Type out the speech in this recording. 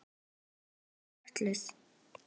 Ég er fötluð.